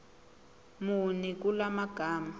muni kula magama